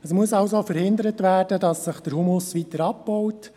Es muss also verhindert werden, dass sich der Humus weiter abbaut.